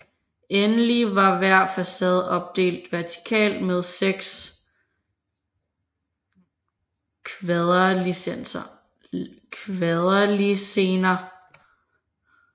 Endelig var hver facade opdelt vertikalt med seks kvaderlisener